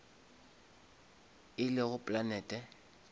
e lego planete